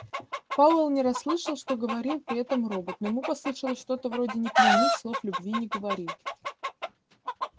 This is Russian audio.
пауэлл не расслышал что говорил при этом робот но ему послышалось что-то вроде не клянись слов любви не говори